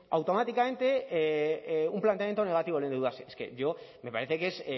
automáticamente un planteamiento negativo el endeudarse es que yo me parece que es